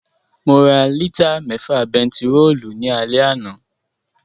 Mo ra lítà mẹ́fà bentiróòlù ní alẹ́ àná